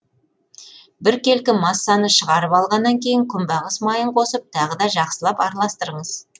біркелкі массаны шығарып алғаннан кейін күнбағыс майын қосып тағы да жақсылап араластырыңыз